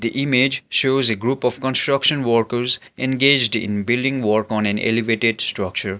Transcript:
the image shows a group of construction workers engaged in building work on an elevated structure.